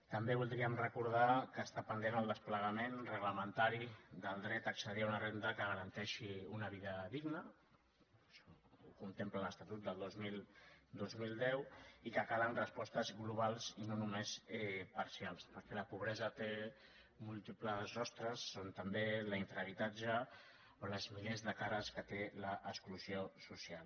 també voldríem recordar que està pendent el des·plegament reglamentari del dret a accedir a una ren·da que garanteixi una vida digna això ho contempla l’estatut del dos mil deu i que calen respostes globals i no només parcials perquè la pobresa té múltiples rostres com també l’infrahabitatge o els milers de cares que té l’exclusió social